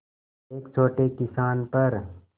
एक छोटे किसान पर